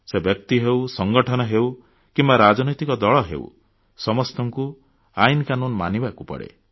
ସେ ବ୍ୟକ୍ତି ହେଉ ସଂଗଠନ ହେଉ କିମ୍ବା ରାଜନୈତିକ ଦଳ ହେଉ ସମସ୍ତଙ୍କୁ ଆଇନକାନୁନ ମାନିବାକୁ ପଡ଼େ